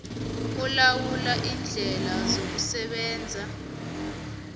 olawula iindlela zokusebenza